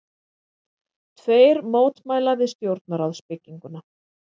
Tveir mótmæla við stjórnarráðsbygginguna